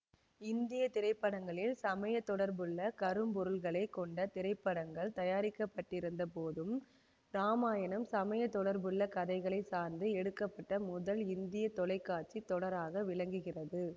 இந்திய திரைப்படங்களில் சமய தொடர்புள்ள கருப்பொருள்களைக் கொண்ட திரைப்படங்கள் தயாரிக்கப்பட்டிருந்த போதும் இராமாயணம் சமய தொடர்புள்ள கதைகளை சார்ந்து எடுக்க பட்ட முதல் இந்திய தொலை காட்சி தொடராக விளங்குகிறது